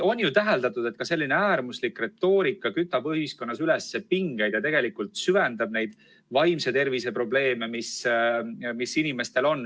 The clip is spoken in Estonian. On ju täheldatud, et selline äärmuslik retoorika kütab ühiskonnas üles pingeid ja süvendab vaimse tervise probleeme.